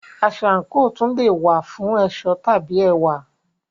Aṣọ/àǹkò tún le è wà fún ẹ̀ṣọ́ tàbí ẹwà.